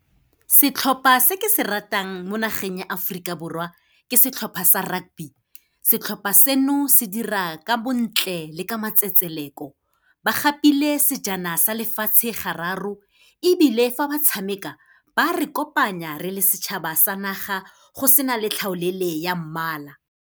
Setlhopha se ke se ratang mo nageng ya Aforika Borwa, ke setlhopha sa rugby. Setlhopha seno se dira ka bontle le ka matsetseleko. Ba gapile sejana sa lefatshe gararo, ebile fa ba tshameka ba re kopanya re le setšhaba sa naga go se na le tlhaolele ya mmala.